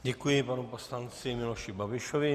Děkuji panu poslanci Miloši Babišovi.